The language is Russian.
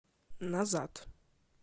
назад